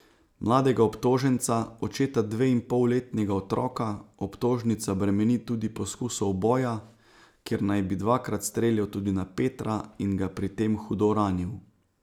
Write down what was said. Mladega obtoženca, očeta dveinpolletnega otroka, obtožnica bremeni tudi poskusa uboja, ker naj bi dvakrat streljal tudi na Petra in ga pri tem hudo ranil.